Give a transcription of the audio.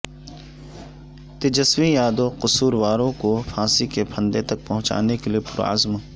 تیجسوی یادو قصورواروں کو پھانسی کے پھندے تک پہنچانے کے لیے پرعزم